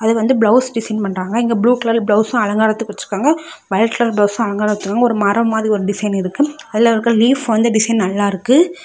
அது வந்து blouse design பண்றாங்க. இங்க ப்ளூ கலர் பிளவுஸு அலங்காரத்துக்கு வச்சிருக்காங்க. வயலட் கலர் பிளவுஸு அலங்கார வச்சிருக்காங்க. ஒரு மரம் மாறி ஒரு டிசைன் இருக்கு. அதுல இருக்க லீப் வந்து டிசைன் நல்லா இருக்கு.